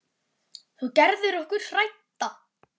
Þú gerðir okkur hrædda.